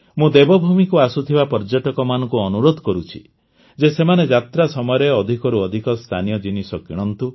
ମୁଁ ଦେବଭୂମିକୁ ଆସୁଥିବା ପର୍ଯ୍ୟଟକମାନଙ୍କୁ ଅନୁରୋଧ କରୁଛି ଯେ ସେମାନେ ଯାତ୍ରା ସମୟରେ ଅଧିକରୁ ଅଧିକ ସ୍ଥାନୀୟ ଜିନିଷ କିଣନ୍ତୁ